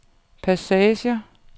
passagerer